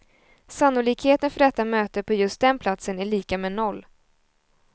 Sannolikheten för detta möte på just den platsen är lika med noll.